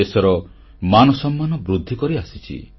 ଦେଶର ମାନ ସମ୍ମାନ ବୃଦ୍ଧି କରିଆସିଛନ୍ତି